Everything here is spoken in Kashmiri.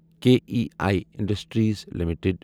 K E I industries limited